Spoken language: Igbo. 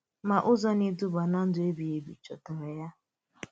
Mà ụzọ na-edùbà ná ndụ ebíghì ebi Ị chòtàlà ya?